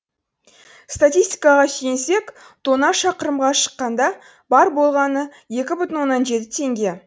статистикаға сүйенсек тонна шақырымға шаққанда бар болғаны екі бүтін оннан жеті теңге